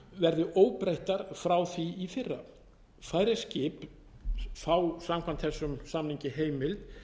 verði óbreyttar frá því í fyrra færeysk skip fá samkvæmt þessum samningi heimild